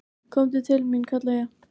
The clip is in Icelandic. """Komdu til mín, kalla ég."""